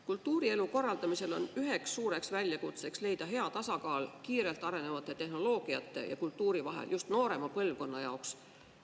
Kultuurielu korraldamisel on üheks suureks väljakutseks see, et tuleb leida tasakaal kiirelt arenevate tehnoloogiate ja kultuuri vahel, just noorema põlvkonna jaoks.